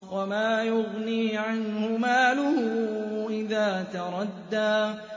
وَمَا يُغْنِي عَنْهُ مَالُهُ إِذَا تَرَدَّىٰ